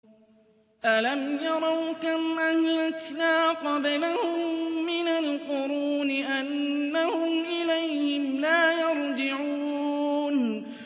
أَلَمْ يَرَوْا كَمْ أَهْلَكْنَا قَبْلَهُم مِّنَ الْقُرُونِ أَنَّهُمْ إِلَيْهِمْ لَا يَرْجِعُونَ